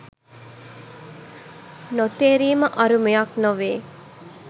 නොතේරීම අරුමයක් නොවේ.